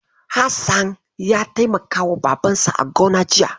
Hassan ya taimakawa Babansa a gona jiya.